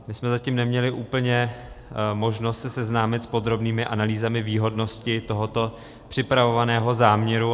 My jsme zatím neměli úplně možnost se seznámit s podrobnými analýzami výhodnosti tohoto připravovaného záměru.